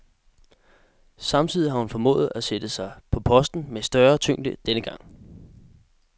Samtidig har hun formået at sætte sig på posten med større tyngde denne gang.